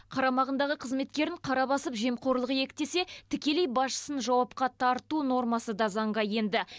қарамағындағы қызметкерін қара басып жемқорлық иектесе тікелей басшысын жауапқа тарту нормасы да заңға енді